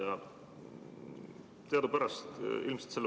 Hea ettekandja!